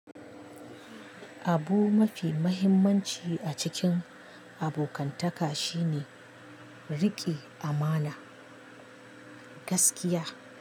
Abu mafi muhimmanci a cikin abokantaka shine riƙe amana, gaskiya.